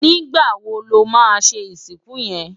Nigbá wó lò má ṣé isikún yén?